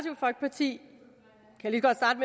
sige